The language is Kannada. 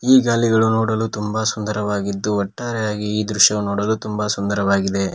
ಈ ಗಾಲಿಗಳು ನೋಡಲು ತುಂಬಾ ಸುಂದರವಾಗಿದ್ದು ಒಟ್ಟಾರೆಯಾಗಿ ಈ ದೃಶ್ಯ ನೋಡಲು ತುಂಬಾ ಸುಂದರವಾಗಿದೆ.